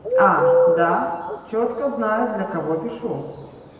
а да чётко знаю для кого пишу